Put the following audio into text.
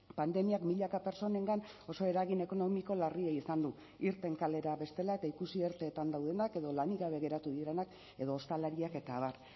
pandemiak milaka pertsonengan oso eragin ekonomiko larria izan du irten kalera bestela eta ikusi erteetan daudenak edo lanik gabe geratu direnak edo ostalariak eta abar